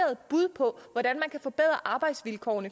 at arbejdsstillinger og